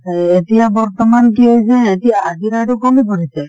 এতিয়া বৰ্তমান কি হৈছে এতিয়া হাজিৰা টো কমে কৰিছে।